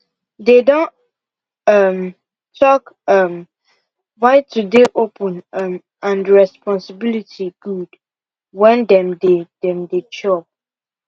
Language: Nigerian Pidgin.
they don um talk um why to dey open um and responsibility good when dem dey dem dey chop